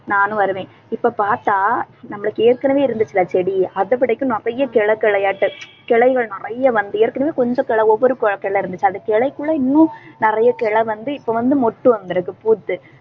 நானும் வருவேன். இப்ப பார்த்தா, நம்மளுக்கு ஏற்கனவே இருந்துச்சல்ல செடி, அதைவிட நிறைய கிளை கிளையாட கிளைகள் நிறைய வந்து கொஞ்ச கிளைகள் ஏற்கனவே ஒவ்வொரு கிளை இருந்துச்சு அந்த கிளைக்குள்ள இன்னும் நிறைய கிளை வந்து இப்ப வந்து மொட்டு வந்திருக்கு பூத்து,